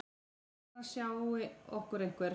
Annars sjái okkur einhver.